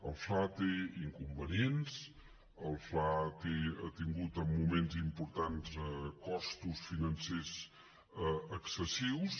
el fla té inconvenients el fla ha tingut en moments importants costos financers excessius